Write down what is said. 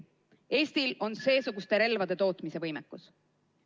Eestil on seesuguste relvade tootmise võimekus.